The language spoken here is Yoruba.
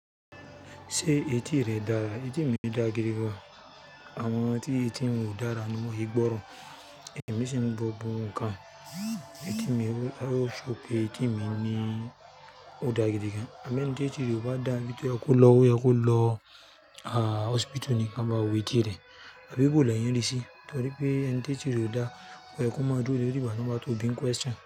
Ṣé etí rẹ dára? Etí mi dàa gídí gan. Àwọn tí etí wọn ò dára ni wọn é gbọ́ràn. Ẹ̀mí ṣì ń gbọ́ gbogbo ǹkan. Etí mi o, ó show pé etí mi ní ò dàa gídí gan. Àmọ́ ẹni tí etí rẹ ò bá dáa ibi tó yẹ kó lọ óyẹ kó lọ hospital ní kí wọn bá wo etí rẹ. Àbí bóo lẹ́yìn ríi sí? Torí pé ẹni tétí rẹ̀ ò dáa kò yẹ kó máa dúró dé bíi ìgbà tí wọ́n bá tó bíi n question.